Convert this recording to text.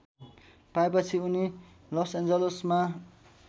पाएपछि उनी लसएन्जलसमा